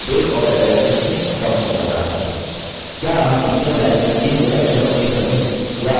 क्या आप teachers line में दिए हुए अक्षरों के समूह या अक्षर के बीच spaces देख सकते हैं